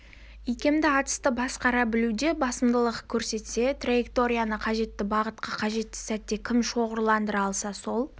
икемді атысты басқара білуде басымдылық көрсетсе траекторияны қажетті бағытқа қажетті сәтте кім шоғырландыра алса сол